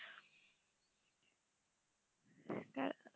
কার